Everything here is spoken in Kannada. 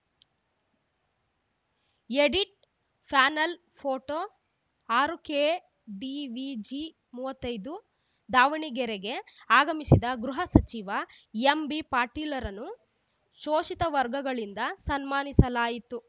ಎಡಿಟ್‌ ಫಾಯನಲ್‌ ಫೋಟೋ ಆರು ಕೆಡಿವಿಜಿ ಮೂವತ್ತೈದು ದಾವಣಗೆರೆಗೆ ಆಗಮಿಸಿದ ಗೃಹ ಸಚಿವ ಎಂಬಿಪಾಟೀಲ್‌ರನ್ನು ಶೋಷಿತ ವರ್ಗಗಳಿಂದ ಸನ್ಮಾನಿಸಲಾಯಿತು